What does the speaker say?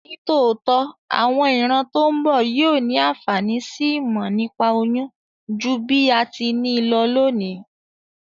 Nítòótó, àwon ìran to n bo yio ni ànfàní si ìmò nípa oyún ju bí a ti ni lo lónìí